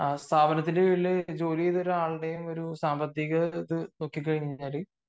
സ്ഥാപനത്തിൽ ജോലി ചെയ്ത ഒരാളെയും സാമ്പത്തിക സ്ഥിതി നോക്കിക്കഴിഞ്ഞാൽ